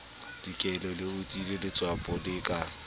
dikele leotlile letswapo le ka